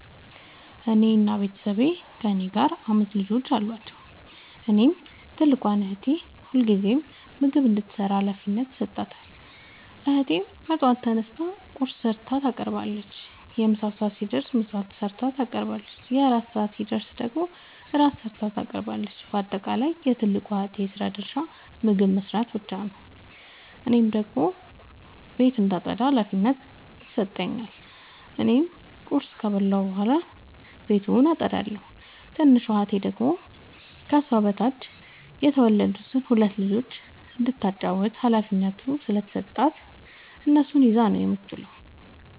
የኔ ቤተሠቦይ ከእኔ ጋር አምስት ልጆች አሏቸዉ። እናም ትልቋን እህቴ ሁልጊዜም ምግብ እንድትሰራ ሀላፊነት ይሠጣታል። እህቴም በጠዋት ተነስታ ቁርስ ሠርታ ታቀርባለች። የምሣ ሰዓት ሲደርስም ምሳ ሠርታ ታቀርባለች። የእራት ሰዓት ሲደርስም ራት ሠርታ ታቀርባለች። ባጠቃለይ የትልቋ እህቴ የስራ ድርሻ ምግብ መስራት ብቻ ነዉ። እኔን ደግሞ ቤት እንዳጠዳ ሀላፊነት ይሠጠኛል። እኔም ቁርስ ከበላሁ በኃላ ቤቱን አጠዳለሁ። ትንሿ እህቴ ደግሞ ከሷ በታች የተወለዱትን ሁለት ልጆይ እንዳታጫዉታቸዉ ሀላፊነት ስለተሠጣት እነሱን ይዛ ነዉ የምትዉለዉ።